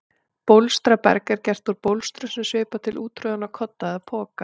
Bólstraberg er gert úr bólstrum sem svipar til úttroðinna kodda eða poka.